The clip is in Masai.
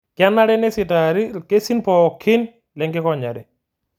Kenare neisitaari ilkesin pookin lenkikonyare